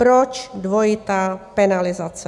Proč dvojitá penalizace?